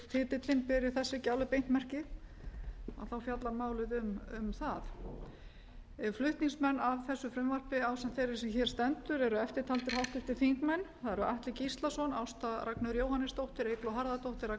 titillinn beri þess ekki beint merki þá fjallar málið um það flutningsmenn að þessu frumvarpi ásamt þeirri sem hér stendur eru eftirtaldir háttvirtir þingmenn það eru atli gíslason ásta ragnheiður jóhannesdóttir eygló harðardóttir ragnheiður